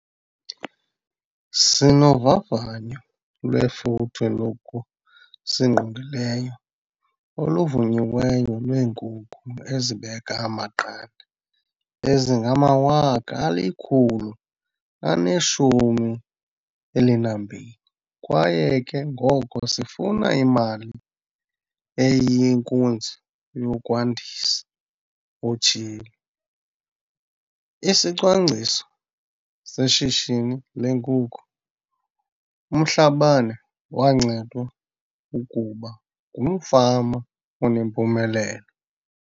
"Sinovavanyo lwefuthe lokusingqongileyo oluvunyiweyo lwee-nkukhu ezibeka amaqanda ezingama-112 000 kwaye ke ngoko sifuna imali eyinkunzi yokwandisa," utshilo. ISicwangciso Seshishini leeNkukhu UMhlabane wancedwa ukuba ngumfama onempumelelo.